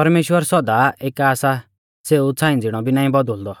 परमेश्‍वर सौदा एका सा सेऊ छ़ांई ज़िणौ भी नाईं बौदुलदौ